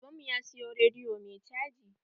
Baban mu ya siyo rediyo mai caji.